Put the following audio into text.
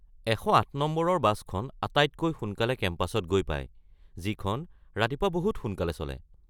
১০৮ নম্বৰৰ বাছখন আটাইতকৈ সোনকালে কেম্পাছত গৈ পায়, যিখন ৰাতিপুৱা বহুত সোনকালে চলে।